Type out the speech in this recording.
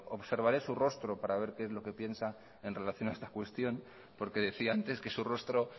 observaré su rostro para ver qué es lo que piensa en relación a esta cuestión porque decía antes que su rostro